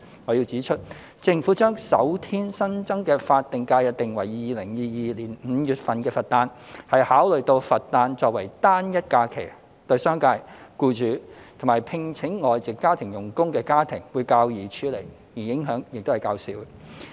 我要指出，政府將首天新增的法定假日定為2022年5月的佛誕，是考慮到佛誕作為單一假期，對商界、僱主及聘請外籍家庭傭工的家庭會較易處理，而影響亦較少。